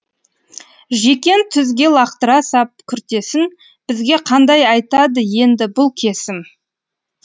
жекен түзге лақтыра сап күртесін бізге қандай айтады енді бұл кесім